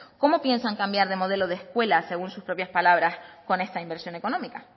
cómo piensan cambiar de modelo de escuela según sus propias palabras con esta inversión económica